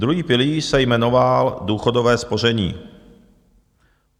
Druhý pilíř se jmenoval důchodové spoření.